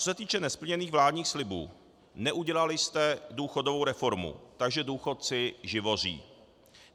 Co se týče nesplněných vládních slibů - neudělali jste důchodovou reformu, takže důchodci živoří.